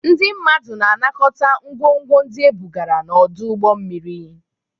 Ndị mmadụ na-anakọta ngwongwo ndị ebugara n'ọdụ ụgbọ mmiri.